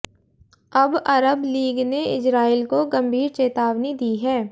अब अरब लीग ने इजरायल को गंभीर चेतावनी दी है